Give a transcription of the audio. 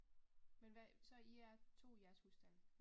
Men hvad så I er 2 i jeres husstand?